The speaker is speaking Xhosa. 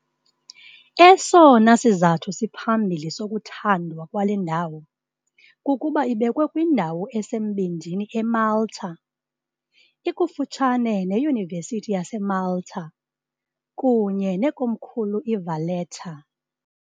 Esona sizathu siphambili sokuthandwa kwale ndawo kukuba ibekwe kwindawo esembindini eMalta, ikufutshane neYunivesithi yaseMalta kunye nekomkhulu iValletta .